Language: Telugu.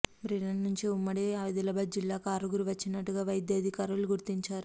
బ్రిటన్ నుంచి ఉమ్మడి ఆదిలాబాద్ జిల్లాకు ఆరుగురు వచ్చినట్టుగా వైద్యాధికారులు గుర్తించారు